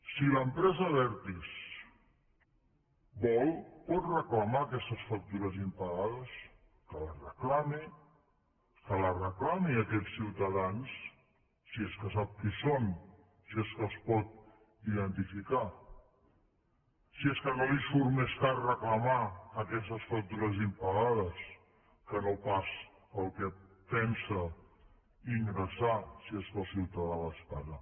si l’empresa abertis vol pot reclamar aquestes factures impagades que les reclami que les reclami a aquests ciutadans si és que sap qui són si és que els pot identificar si és que no li surt més car reclamar aquestes factures impagades que no pas el que pensa ingressar si és que el ciutadà les paga